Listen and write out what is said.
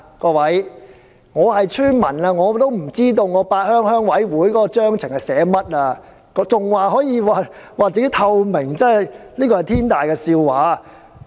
各位，雖然我是村民，但我也不知道八鄉鄉事會的組織章程寫的是甚麼，竟然還說鄉事會具有透明度，這真是天大的笑話。